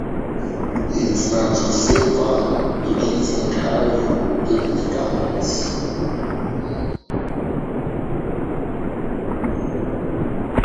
it na to safe am begin tink how yu go take make amends